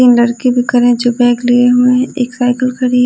तीन लड़के भी खड़े है जो बैग लिए हुए एक साइकिल खड़ी है।